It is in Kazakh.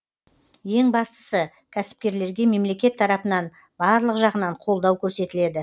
ең бастысы кәсіпкерлерге мемлекет тарапынан барлық жағынан қолдау көрсетіледі